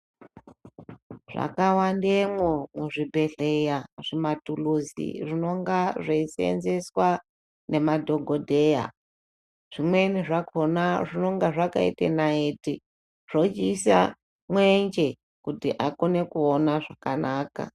Zvakawandemwo muzvibhedhleya zvimathuluzi zvinonga zveisenzeswa ngemadhokodheya. Zvimweni zvakhona zvinonga zvakaite naiti, zvochiiswa mwenje, kuti akone kuona zvakanaka.